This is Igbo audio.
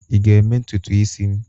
Ị ga-eme ntutu isi m?